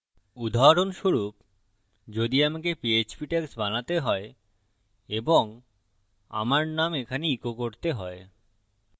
উদাহরণস্বরূপ যদি আমাকে php tags বানাতে হয় এবং আমার name এখানে echo করতে হয়